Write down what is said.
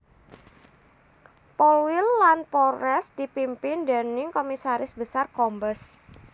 Polwil lan Polres dipimpin déning Komisaris Besar Kombes